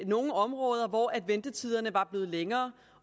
nogle områder hvor ventetiderne var blevet længere